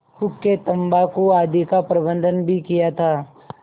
हुक्केतम्बाकू आदि का प्रबन्ध भी किया था